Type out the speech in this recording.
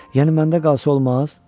Yəni məndə qalsa olmaz?